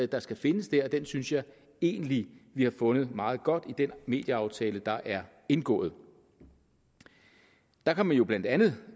der skal findes der og den synes jeg egentlig vi har fundet meget godt i den medieaftale der er indgået der kan man jo blandt andet